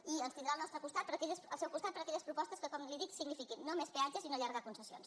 i ens tindrà al seu costat per a aquelles propostes que com li dic signifiquin no més peatges i no allar·gar concessions